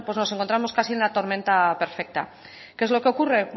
bueno pues nos encontramos casi en la tormenta perfecta qué es lo que ocurre